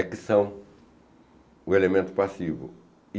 É que são o elemento passivo.